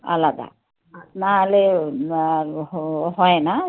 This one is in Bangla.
না হলে হয় না.